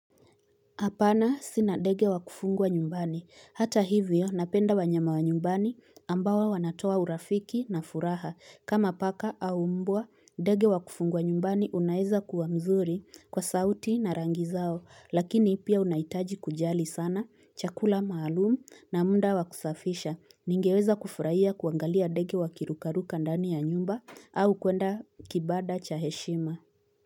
Hapana sina dege wakufungwa nyumbani. Hata hivyo napenda wanyama wa nyumbani ambawa wanatoa urafiki na furaha. Kama paka au mbwa, dege wakufungwa nyumbani unaeza kuwa mzuri kwa sauti na rangi zao. Lakini ipia unaitaji kujali sana, chakula maalumu na muda wakusafisha. Ningeweza kufurahia kuangalia dege wakirukaruka ndani ya nyumba au kuenda kibada cha heshima.